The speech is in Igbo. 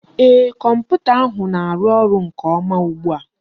Ee, Kọmputa ahụ na-arụ ọrụ nke ọma ugbua